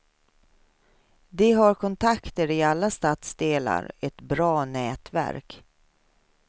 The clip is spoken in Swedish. De har kontakter i alla stadsdelar, ett bra nätverk.